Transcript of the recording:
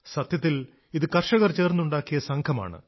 സത്യത്തിൽ ഇത് കർഷകർ ചേർന്നുണ്ടാക്കിയ സംഘമാണ്